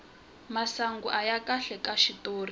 masangu aya kahle ka xitori